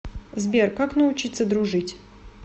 сбер как научиться дружить